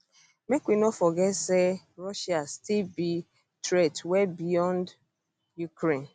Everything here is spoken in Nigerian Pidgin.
make we no forget forget say um russia still be um threat well beyond ukraine